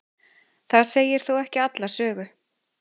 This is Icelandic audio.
það segir þó ekki alla sögu